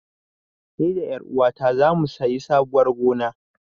Ni da ƴaruwata zamu sayi sabuwar gona.